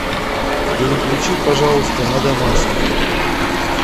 переключи пожалуйста на домашний